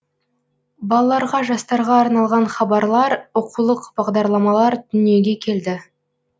балаларға жастарға арналған хабарлар оқулық бағдарламалар дүниеге келді